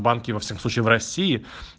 банки во всяком случае в россии